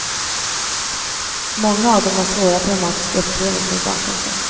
Många av dem har svåra traumatiska upplevelser bakom sig.